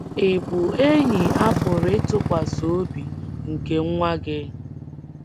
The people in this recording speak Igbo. Ị bụ enyi a pụrụ ịtụkwasị obi nke nwa gị?